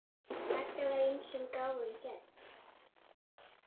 Magga var ýmsum gáfum gædd.